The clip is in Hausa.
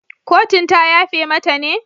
Kotun ta yafe mata ne?